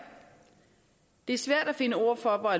det er svært at finde ord for